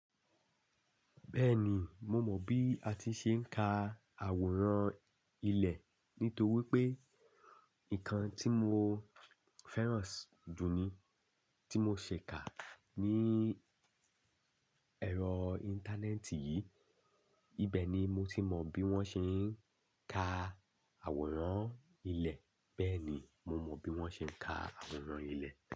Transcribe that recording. Bẹ́ẹ̀ni, mo mọ bí a ti ṣe ń ka àwòrán ilẹ̀ nítorí pé nǹkan tí mo fẹ́ràn jù ní tí mo ṣe kà ní ẹ̀rọ íńtánẹ́ẹ̀tì yìí. Ibẹ̀ ni mo ti mọ bí wón ṣe ń ka àwòrán ilẹ̀. Bẹ́ẹ̀ ni, mo mọ bí wón ṣe ń ka àwòrán ilẹ̀.